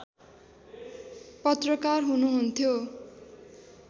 पत्रकार हुनुहुन्थ्यो